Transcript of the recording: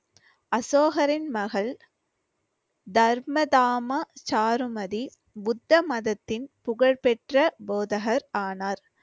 அசோகரின் மகள் தர்மதாமா சாருமதி புத்த மதத்தின் புகழ்பெற்ற போதகர் ஆனார்